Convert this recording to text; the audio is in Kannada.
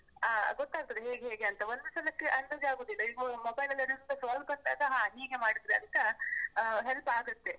ಆ ಗೊತ್ತಾಗ್ತದೆ ಹೇಗೆ ಹೇಗೆ ಅಂತ, ಒಂದು ಸಲಕ್ಕೆ ಅಂದಾಜಾಗುದಿಲ್ಲ, ಈಗ mobile ಲ್ಲಿರುದ್ರಿಂದ ಬಂದಾಗ ಹಾ ಹೀಗೆ ಮಾಡಿದ್ರೆ ಅಂತ ಆ help ಆಗತ್ತೆ.